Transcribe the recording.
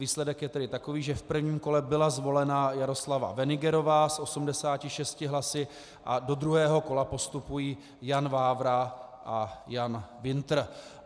Výsledek je tedy takový, že v prvním kole byla zvolena Jaroslava Wenigerová s 86 hlasy a do druhého kola postupují Jan Vávra a Jan Wintr.